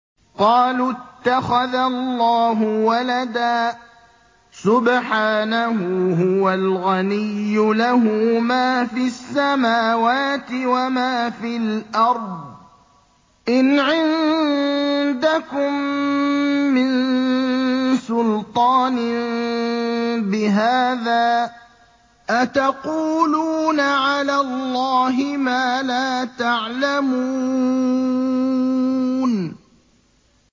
قَالُوا اتَّخَذَ اللَّهُ وَلَدًا ۗ سُبْحَانَهُ ۖ هُوَ الْغَنِيُّ ۖ لَهُ مَا فِي السَّمَاوَاتِ وَمَا فِي الْأَرْضِ ۚ إِنْ عِندَكُم مِّن سُلْطَانٍ بِهَٰذَا ۚ أَتَقُولُونَ عَلَى اللَّهِ مَا لَا تَعْلَمُونَ